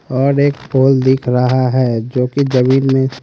और एक पोल दिख रहा है जोकि जमीन में--